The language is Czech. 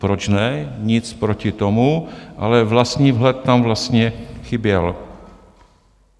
Proč ne, nic proti tomu, ale vlastní vhled tam vlastně chyběl.